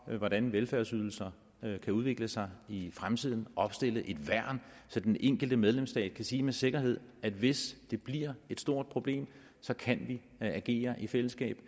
hvordan velfærdsydelserne kan udvikle sig i fremtiden og opstille et værn så den enkelte medlemsstat kan sige med sikkerhed at hvis det bliver et stort problem så kan man agere i fællesskab